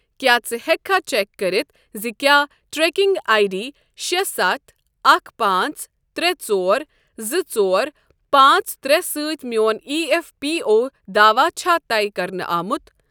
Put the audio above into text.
کیٛاہ ژٕ ہٮ۪ککھا چیک کٔرتھ زِ کیٛاہ ٹریکنگ آیۍ ڈی شےٚ ستھ اکھ پانٛژ ترٛے ژور زٕ ژور پانٛژ ترٛے سۭتۍ میٛون ایی ایف پی او داواہ چھا طے کَرنہٕ آمت؟